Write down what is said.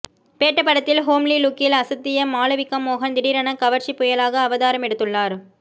பேட்ட படத்தில் ஹோம்லி லுக்கில் அசத்திய மாளவிகா மோகன் திடீரென கவர்ச்சி புயலாக அவதாரம் எடுத்துள்ளார்